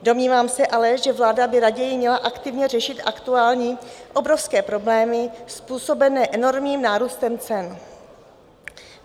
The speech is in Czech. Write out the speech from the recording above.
Domnívám se ale, že vláda by raději měla aktivně řešit aktuální obrovské problémy způsobené enormním nárůstem cen.